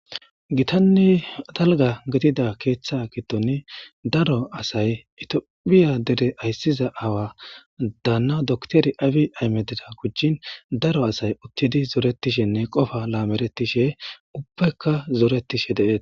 Gitane dalga gidida keetha gifoni daro asay tophiye Dera aysiza aawa Dana dokitere abiy ahmedera gujin daro asay zoretishene qopa lameretishe ubbayka zoretishe de'etes